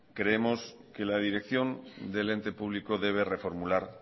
creemos que la dirección del ente público debe reformular